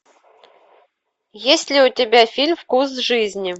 есть ли у тебя фильм вкус жизни